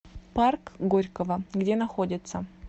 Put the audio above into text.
парк горького где находится